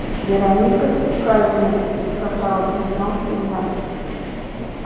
вероника все правильно тебе сказала признался я